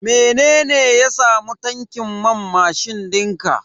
Mene ya samu tankin man mashin dinka?